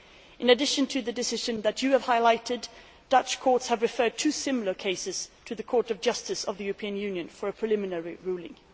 In addition to the decision that you have highlighted, Dutch courts have referred two similar cases to the Court of Justice of the European Union for a preliminary ruling.